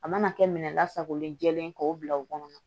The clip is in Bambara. A mana kɛ minɛn lasagolen jɛlen ye k'o bila o kɔnɔ